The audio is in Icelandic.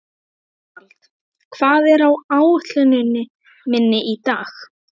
Ástvald, hvað er á áætluninni minni í dag?